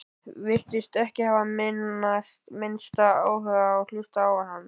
Virtist ekki hafa minnsta áhuga á að hlusta á hann.